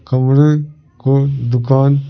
कमरे को दुकान--